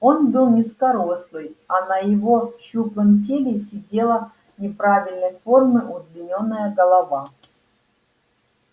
он был низкорослый а на его щуплом теле сидела неправильной формы удлинённая голова